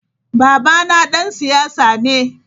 Babana dan siyasa ne.